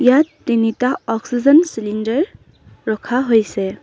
ইয়াত তিনিটা oxygen cylinder ৰখা হৈছে।